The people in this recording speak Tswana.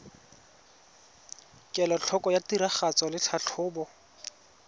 kelotlhoko ya tiragatso le tlhatlhobo